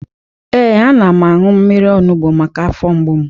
Ee, ana m aṅụ mmiri onubo maka afọ mgbu m